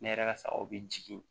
Ne yɛrɛ ka sagaw bɛ jigin